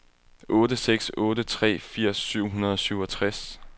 otte seks otte tre firs syv hundrede og syvogtres